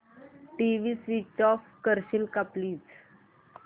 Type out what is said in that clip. TV switch off करशील का please